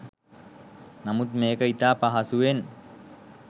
නමුත් මේක ඉතා පහසුවෙන්